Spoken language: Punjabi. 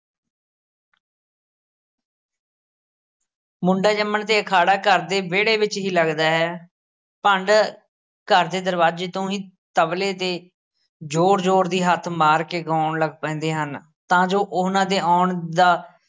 ਮੁੰਡੇ ਜੰਮਣ 'ਤੇ ਅਖਾੜਾ ਘਰ ਦੇ ਵਿਹੜੇ ਵਿੱਚ ਹੀ ਲੱਗਦਾ ਹੈ, ਭੰਡ ਘਰ ਦੇ ਦਰਵਾਜੇ ਤੋਂ ਹੀ ਤਬਲੇ 'ਤੇ ਜ਼ੋਰ-ਜ਼ੋਰ ਦੀ ਹੱਥ ਮਾਰ ਕੇ ਗਾਉਣ ਲੱਗ ਪੈਂਦੇ ਹਨ ਤਾਂ ਜੋ ਉਹਨਾਂ ਦੇ ਆਉਣ ਦਾ